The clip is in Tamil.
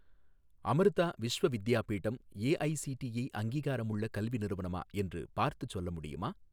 அமிர்தா விஸ்வ வித்யாபீடம் ஏஐஸிடிஇ அங்கீகாரமுள்ள கல்வி நிறுவனமா என்று பார்த்துச் சொல்ல முடியுமா?